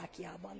Szlovákiában.